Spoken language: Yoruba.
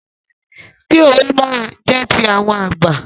Kí òwe máa jẹ́ ti àwọn àgbà.